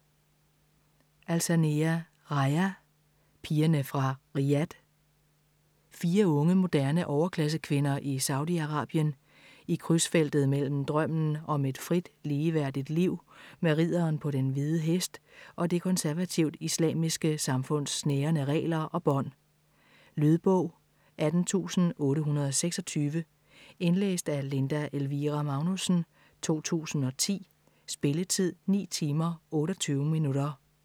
Alsanea, Rajaa: Pigerne fra Riyadh Fire unge, moderne overklassekvinder i Saudi Arabien, i krydsfeltet mellem drømmen om et frit, ligeværdigt liv med ridderen på den hvide hest, og det konservativt islamiske samfunds snærende regler og bånd. Lydbog 18826 Indlæst af Linda Elvira Magnussen, 2010. Spilletid: 9 timer, 28 minutter.